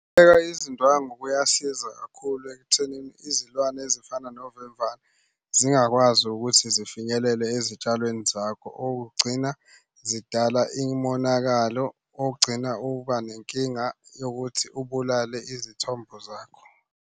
Ukubeka izindwangu kuyasiza kakhulu ekuthenini izilwane ezifana novemvane zingakwazi ukuthi zifinyelele ezitshalweni zakho. Okugcina zidala imonakalo ogcina uba nenkinga yokuthi ubulale izithombo zakho.